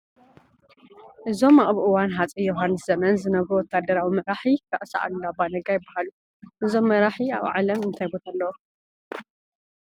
እዞም ኣብ እዋን ሃፀይ ዮሃንስ ዘመን ዝነበሩ ወታደራዊ መራሒ ራእሲ ኣሉላ ኣባ ነጋ ይበሃል፡፡ እዞም መራሒ ኣብ ዓለም እንታይ ቦታ ኣለዎም?